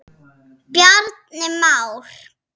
Bjarni Már.